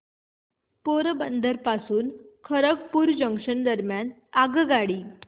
पोरबंदर पासून खरगपूर जंक्शन दरम्यान आगगाडी